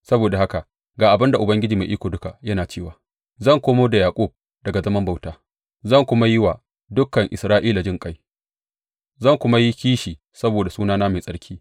Saboda haka ga abin da Ubangiji Mai Iko Duka yana cewa zan komo da Yaƙub daga zaman bauta zan kuma yi wa dukan Isra’ila jinƙai, zan kuma yi kishi saboda sunana mai tsarki.